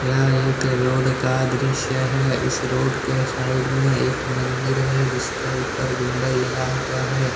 यह एक रोड का दृश्य है। इस रोड के साइड में एक मन्दिर है जिसके ऊपर गुंबज लगा हुआ हैं ।